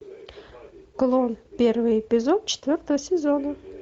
клон первый эпизод четвертого сезона